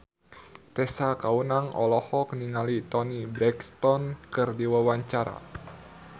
Tessa Kaunang olohok ningali Toni Brexton keur diwawancara